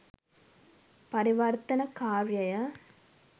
පරිවර්තන කාර්යය